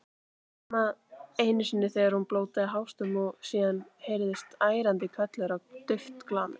Nema einu sinni þegar hún blótaði hástöfum og síðan heyrðist ærandi hvellur og dauft glamur.